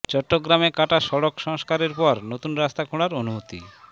চট্টগ্রামে কাটা সড়ক সংস্কারের পর নতুন রাস্তা খোঁড়ার অনুমতি